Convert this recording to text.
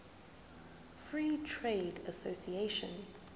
free trade association